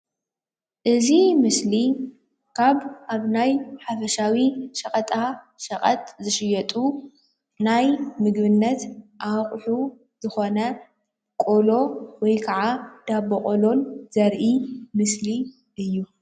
እዚ ምስሊ ካብ ኣብ ናይ ሓፈሻዊ ሸቀጣሸቀጥ ዝሽየጡ ናይ ምግብነት ኣቁሑ ዝኮነ ቆሎ ወይ ከዓ ዳቦ ቆሎ ዘርኢ ምስሊ እዩ፡፡